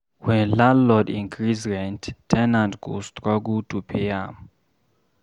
When landlord increase rent, ten ant go struggle to pay am